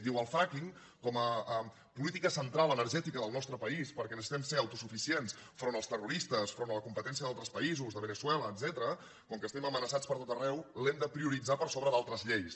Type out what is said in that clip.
diu el frackinga política central energètica del nostre país perquè necessitem ser autosuficients enfront dels terroristes enfront de la competència d’altres països de veneçuela etcètera com que estem amenaçats pertot arreu l’hem de prioritzar per sobre d’altres lleis